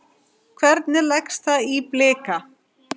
Hvernig leggst það í Blika?